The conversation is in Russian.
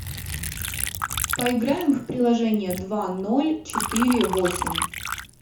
поиграем в приложение два ноль четыре восемь